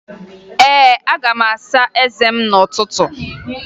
Ee, aga m asa eze m n'ụtụtụ